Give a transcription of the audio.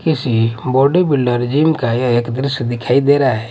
किसी body builder gym का यह एक दृश्य दिखाई दे रहा--